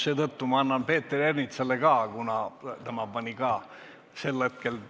Seetõttu ma annan nüüd Peeter Ernitsale uuesti võimaluse, kuna tema pani ka sel hetkel ...